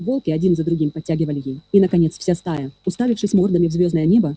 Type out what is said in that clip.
волки один за другим подтягивали ей и наконец вся стая уставившись мордами в звёздное небо